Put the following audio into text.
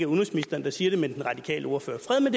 udenrigsministeren der siger det men den radikale ordfører fred med